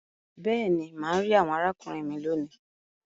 Béèni, má rí àwòn arákùnrin mí lóni.